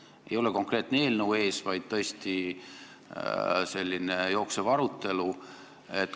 Seal ei ole konkreetset eelnõu ees, vaid on selline jooksev arutelu.